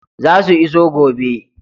Zasu iso gobe.